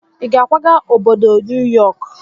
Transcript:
Ị ga-akwaga obodo New York?